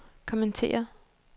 kommentere